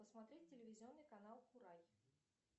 посмотреть телевизионный канал курай